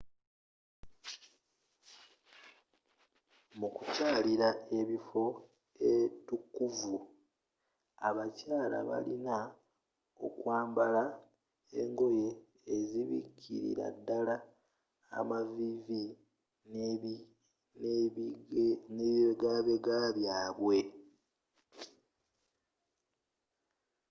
mukukyalila ebifo eitukuvvu abakyala balina okwambala engoye ezzibikililaddala amavivi n'ebibegabega byabwe